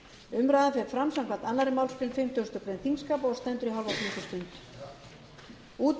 umræðan fer fram samkvæmt annarri málsgrein fimmtugustu grein þingskapa og